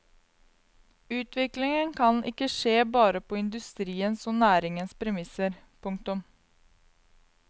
Utviklingen kan ikke skje bare på industriens og næringens premisser. punktum